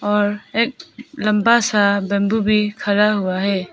और एक लंबा सा बंबू भी खड़ा हुआ है।